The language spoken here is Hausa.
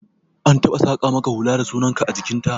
An taɓa saƙa maka hula da sunan ka a jikin ta?